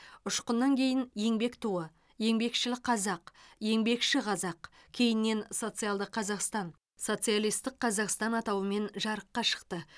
ұшқыннан кейін еңбек туы еңбекшіл қазақ еңбекші қазақ кейіннен социалды қазақстан социалистік қазақстан атауымен жарыққа шықты